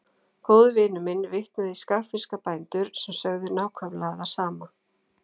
Góður vinur minn vitnaði í skagfirska bændur sem sögðu nákvæmlega það sama.